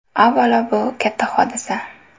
Avvalo, bu katta hodisa.